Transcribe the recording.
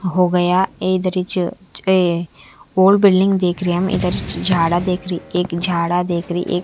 होगया ये ये और बिल्डिंग देखर हे है हम इधर छ जादा देख रहे एक जाड़ा देख रहे एक--